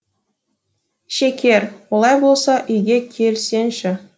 шекер олай болса үйге келсеңші